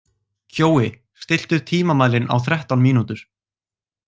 Kjói, stilltu tímamælinn á þrettán mínútur.